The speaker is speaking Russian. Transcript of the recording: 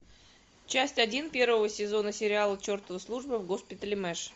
часть один первого сезона сериала чертова служба в госпитале мэш